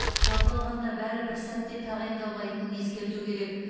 жалпы алғанда бәрі бір сәтте тағайындалмайтынын ескерту керек